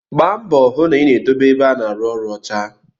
Gbara mbọ hụ na ị na-edobe ebe a na-arụ ọrụ ọcha